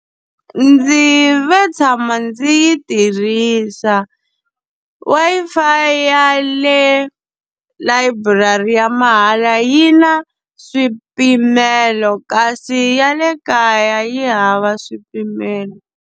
Ndzi ve tshama ndzi yi tirhisa. Wi-Fi ya le layiburari ya mahala yi na swipimelo kasi ya le kaya yi hava swipimelo.